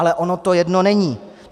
Ale ono to jedno není.